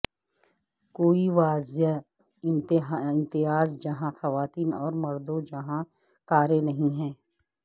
کوئی واضح امتیاز جہاں خواتین اور مردوں جہاں کاریں نہیں ہے